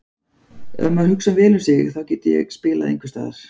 Ef maður hugsar vel um sig þá get ég spilað einhversstaðar.